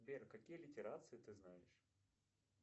сбер какие литерации ты знаешь